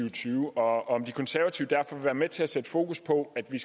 og tyve og om de konservative derfor vil være med til at sætte fokus på at vi